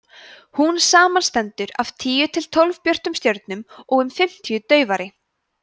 hún samanstendur af tíu til tólf björtum stjörnum og um fimmtíu daufari